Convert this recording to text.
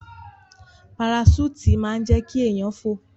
Paraṣúùtì máa ń jẹ́ kí èèyàn fò